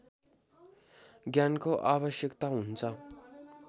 ज्ञानको आवश्यकता हुन्छ